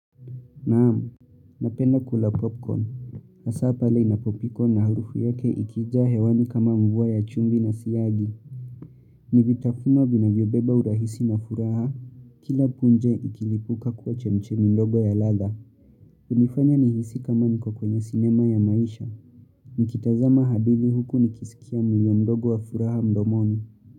Naamu, napenda kula popcorn. Hasaa pale inapopikwa na harufu yake ikija hewani kama mvua ya chumvi na siyagi. Ni vitafuno vinavyobeba urahisi na furaha. Kila punje ikilipuka kuwa chemchemi ndogo ya ladha. Hunifanya nihisi kama niko kwenye cinema ya maisha. Nikitazama hadithi huku nikisikia mlio mdogo wa furaha mdomoni.